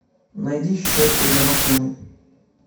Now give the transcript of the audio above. найди щетку для машины